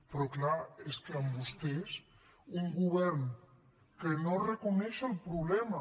però clar és que amb vostès un govern que no reconeix el problema